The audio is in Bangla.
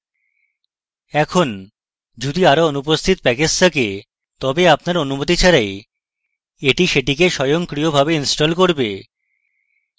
এখন যদি আরও অনুপস্থিত প্যাকেজ থাকে তবে আপনার অনুমতি ছাড়াই এটি সেগুলিকে স্বয়ংক্রিয়ভাবে install করবে